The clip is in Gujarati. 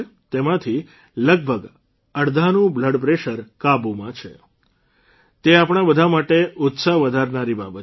તેમાંથી લગભગ અડધાનું બ્લડપ્રેશર કાબૂમાં છે તે આપણા બધા માટે ઉત્સાગ વધારનારી બાબત છે